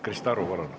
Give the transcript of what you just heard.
Krista Aru, palun!